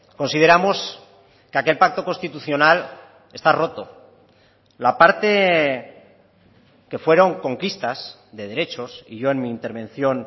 consideramos que aquel pacto constitucional está roto la parte que fueron conquistas de derechos y yo en mi intervención